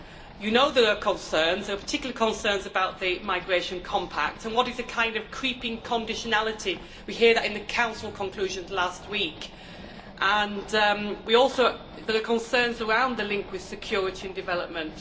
You know there are concerns, and in particular concerns about the Migration Compact and what is a kind of creeping conditionality we heard that in the Council conclusions last week. We also heard concerns around the link with security and development.